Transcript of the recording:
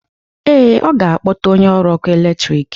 Ee, ọ ga-akpọta onye ọrụ ọkụ eletrik